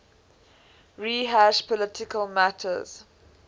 rehash policy matters